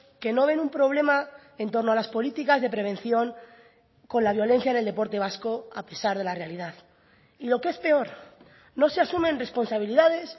que no ven un problema en torno a las políticas de prevención con la violencia en el deporte vasco a pesar de la realidad y lo que es peor no se asumen responsabilidades